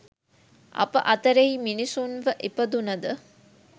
අප අතරෙහි මිනිසුන්ව ඉපදුන ද